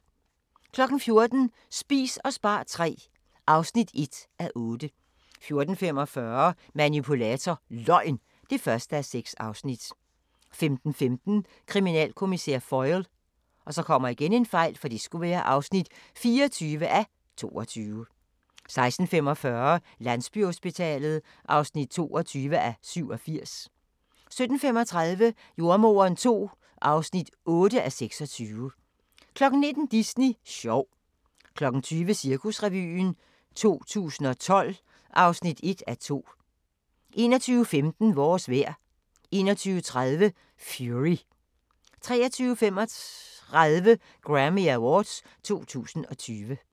14:00: Spis og spar III (1:8) 14:45: Manipulator – Løgn (1:6) 15:15: Kriminalkommissær Foyle (24:22) 16:45: Landsbyhospitalet (22:87) 17:35: Jordemoderen II (8:26) 19:00: Disney sjov 20:00: Cirkusrevyen 2012 (1:2) 21:15: Vores vejr 21:30: Fury 23:35: Grammy Awards 2020